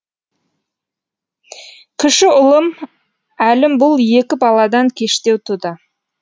кіші ұлым әлім бұл екі баладан кештеу туды